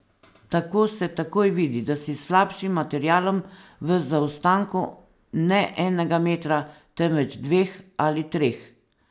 Tako se takoj vidi, da si s slabšim materialom v zaostanku ne enega metra, temveč dveh ali treh.